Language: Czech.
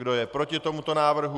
Kdo je proti tomuto návrhu?